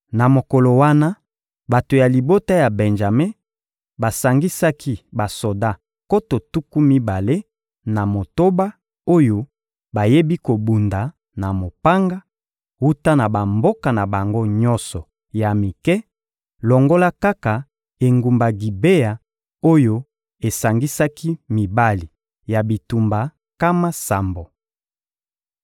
Na mokolo wana, bato ya libota ya Benjame basangisaki basoda nkoto tuku mibale na motoba oyo bayebi kobunda na mopanga, wuta na bamboka na bango nyonso ya mike, longola kaka engumba Gibea oyo esangisaki mibali ya bitumba nkama sambo.